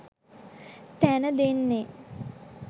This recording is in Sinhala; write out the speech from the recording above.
තැන දෙන්නෙ.